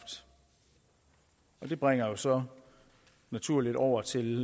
det bringer os så naturligt over til